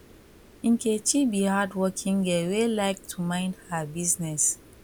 nkechi be hardworking girl wey like to mind her business